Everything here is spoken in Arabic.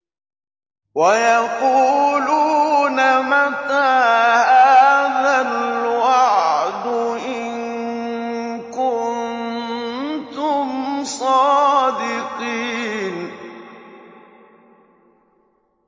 وَيَقُولُونَ مَتَىٰ هَٰذَا الْوَعْدُ إِن كُنتُمْ صَادِقِينَ